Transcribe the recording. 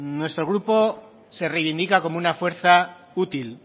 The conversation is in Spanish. nuestro grupo se reivindica como una fuerza útil